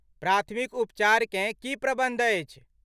प्राथमिक उपचारकेँ की प्रबन्ध अछि?